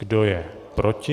Kdo je proti?